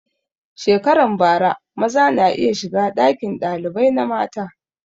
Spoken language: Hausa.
Shekaran bara maza na iya shiga ɗakin ɗalibai na mata